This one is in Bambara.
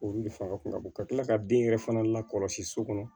Olu de fanga kun ka bon ka tila ka den yɛrɛ fana lakɔlɔsi so kɔnɔ